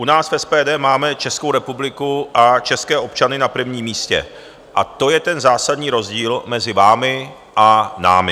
U nás v SPD máme Českou republiku a české občany na prvním místě a to je ten zásadní rozdíl mezi vámi a námi.